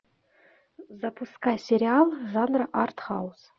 запускай сериал жанра артхаус